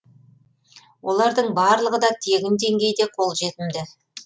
олардың барлығы да тегін деңгейде қолжетімді